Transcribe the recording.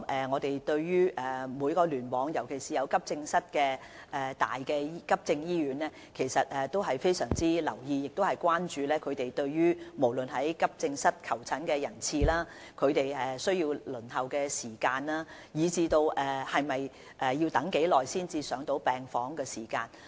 我們對每個聯網，特別是急症醫院也相當留意，亦十分關注它們的急症室求診人次、輪候時間，以及病人要等候多久才可入住病房。